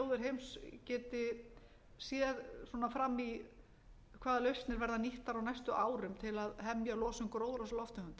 þjóðir heims geti séð fram í hvaða lausnir verða nýttar á næstu árum til að hemja losun gróðurhúsalofttegunda það er